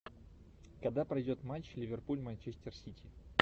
когда пройдет матч ливерпуль манчестер сити